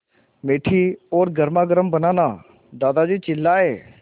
मीठी और गर्मागर्म बनाना दादाजी चिल्लाए